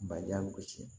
Baliya bɛ gosi